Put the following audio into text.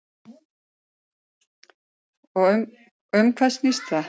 Og um hvað snýst það?